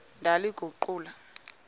ndaliguqula